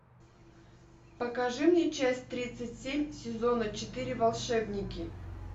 покажи мне часть тридцать семь сезона четыре волшебники